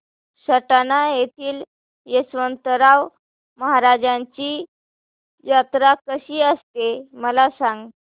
सटाणा येथील यशवंतराव महाराजांची यात्रा कशी असते मला सांग